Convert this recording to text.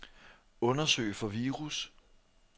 Undersøg for virus.